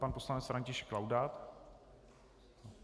Pan poslanec František Laudát.